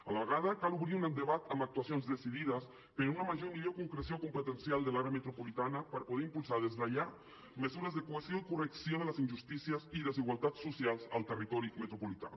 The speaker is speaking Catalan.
a la vegada cal obrir un debat amb actuacions decidides per a una major i millor concreció competencial de l’àrea metropolitana per poder impulsar des de ja mesures de cohesió i correcció de les injustícies i desigualtats socials al territori metropolità